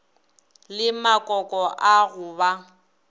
le makoko a go ba